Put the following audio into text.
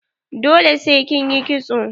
Dole sai kin yi kitso.